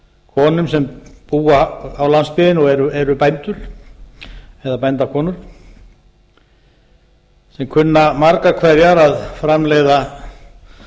konum sem búa á landsbyggðinni og eru bændur eða bændakonum sem kunna margar hverjar að framleiða